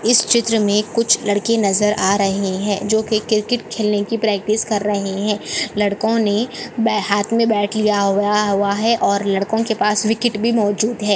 इस चित्र मे कुछ लड़के नजर आ रहे है जो की क्रिकेट खेलने की की प्रैक्टिस कर रहे है लड़को ने ब हात मे ब्याट लिया हुआ है और लड़को के पास विकेट भी मौजूद है।